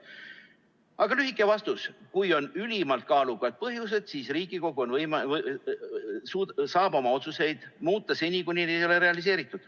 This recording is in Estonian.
Aga lühike vastus: kui on ülimalt kaalukad põhjused, siis Riigikogu saab oma otsuseid muuta, seni, kuni need ei ole realiseeritud.